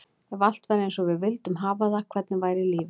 Ef allt væri eins og við vildum hafa það, hvernig væri lífið?